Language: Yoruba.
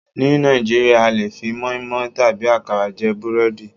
Ní Nàìjíríà a lè fi moinmoin tàbí àkàrà jẹ búrẹ́dì.